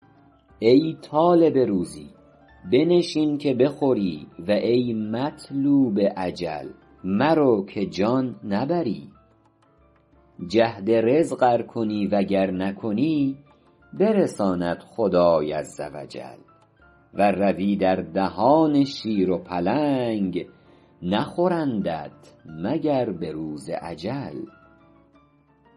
ای طالب روزی بنشین که بخوری و ای مطلوب اجل مرو که جان نبری جهد رزق ار کنی و گر نکنی برساند خدای عز و جل ور روی در دهان شیر و پلنگ نخورندت مگر به روز اجل